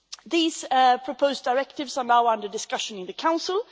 These proposed directives are now under discussion in the Council.